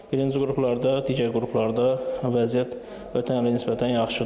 Birinci qruplarda, digər qruplarda vəziyyət ötən ilə nisbətən yaxşıdır.